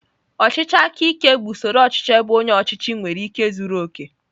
Ọchịchị aka ike bụ usoro ọchịchị ebe onye ọchịchị nwere ike zuru oke.